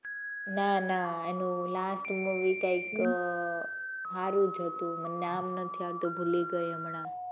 ના ના એનું last movie કઈક સારું જ હતું મને નામ નથી આવડતું, ભૂલી ગઈ હમણાં.